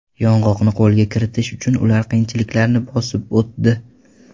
Yong‘oqni qo‘lga kiritish uchun ular qiyinchiliklarni bosib o‘tdi .